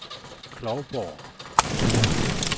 Klovborg